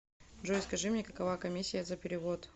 джой скажи мне какова коммисия за перевод